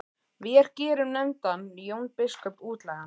Vér gerum nefndan Jón biskup útlægan!